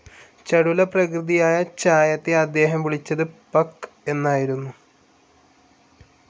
ചടുലപ്രകൃതിയായ ഛായയെ അദ്ദേഹം വിളിച്ചത് പക്ക്‌ എന്നായിരുന്നു.